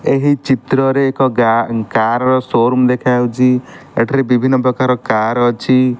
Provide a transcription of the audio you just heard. ଏହି ଚିତ୍ରରେ ଏକ କାର ର ସୋରୁମ ଦେଖାଯାଉଚି ଏଠାରେ ବିଭିନ୍ନ ପ୍ରକାର କାର ଅଛି।